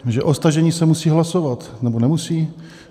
Že o stažení se musí hlasovat, nebo nemusí?